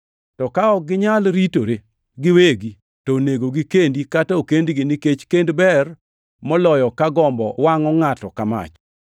To ka ok ginyal ritore giwegi, to onego gikendi, kata okendgi nikech kend ber moloyo ka gombo wangʼo ngʼato ka mach.